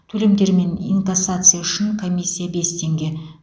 төлемдер мен инкассация үшін комиссия бес теңге